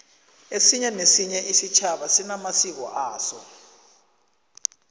esinye nesinye isitjhaba sinamasiko aso